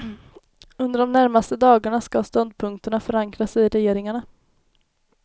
Under de närmaste dagarna ska ståndpunkterna förankras i regeringarna.